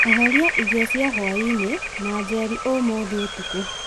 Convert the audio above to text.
eheria irio cia hwaĩinĩ na njeri ũmũthĩ ũtukũ